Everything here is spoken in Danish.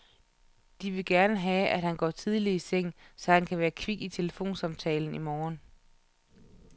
De vil gerne have, at han går tidligt i seng, så han kan være kvik til telefonsamtalen i morgen.